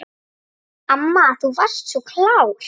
Amma þú varst svo klár.